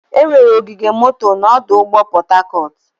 Enwere ogige moto na ọdụ ụgbọ Port Harcourt.